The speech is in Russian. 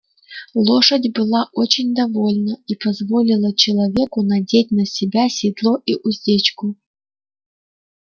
лошадь была очень довольна и позволила человеку надеть на себя седло и уздечку